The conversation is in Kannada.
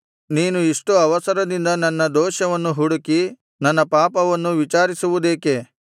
ನೀನು ಇಷ್ಟು ಅವಸರದಿಂದ ನನ್ನ ದೋಷವನ್ನು ಹುಡುಕಿ ನನ್ನ ಪಾಪವನ್ನು ವಿಚಾರಿಸುವುದೇಕೆ